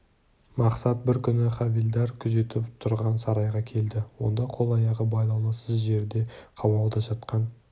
мақсат бір күні хавильдар күзетіп тұрған сарайға келді онда қол-аяғы байлаулы сыз жерде қамауда жатқан